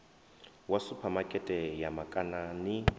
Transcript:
wa suphamakete ya makana ni